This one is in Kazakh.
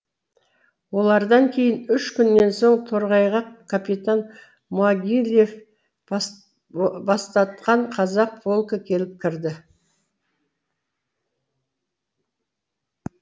олардан кейін үш күннен соң торғайға капитан могилев бастатқан казак полкі келіп кірді